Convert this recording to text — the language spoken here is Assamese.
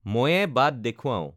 ময়ে বাট দেখূৱাওঁ